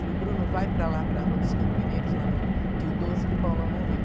Falei, Bruno, vai para lá, para a Rua dos Campineiros, lá no Pio doze, que o Paulão morreu.